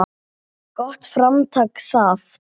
Gott framtak það.